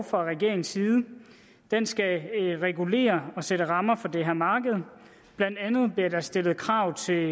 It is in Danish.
fra regeringens side den skal regulere og sætte rammer for det her marked blandt andet bliver der stillet krav til